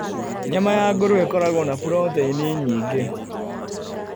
Nyama ya ngũrũwe ĩkoragwo na proteini nyingĩ.